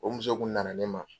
O muso kun nana ne ma.